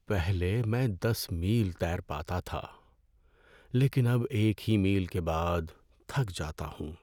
پہلے میں دس میل تیر پاتا تھا لیکن اب ایک ہی میل کے بعد تھک جاتا ہوں۔